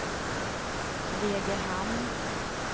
Degerhamn